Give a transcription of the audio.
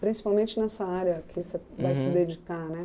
Principalmente nessa área que você vai se dedicar, né?